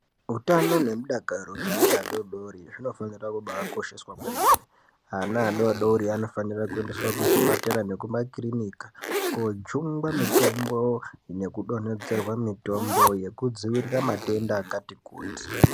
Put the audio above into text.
Utano nemudakaro zveana adoodori zvinofanira kubaakosheswa kwemene. Ana adoodori anofanira kuendeswa kuzvipatara nekumakirinika koojungwa mitombo nekudonhedzerwa mitombo yekudzivirira matenda akati kuti.